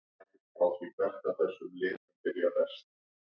Hvað hafa Bandaríkjamenn farið margar geimferðir frá upphafi?